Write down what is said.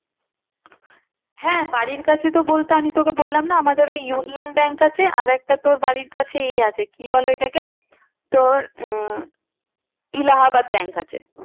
হ্যাঁ বাড়ির কাছে তো বলতে আমি তোকে বললাম না আমাদের ওই union bank আছে আর একটা তোর বাড়ির কাছে এ আছে কি বলে ওইটাকে তোর উম Allahabad bank আছে।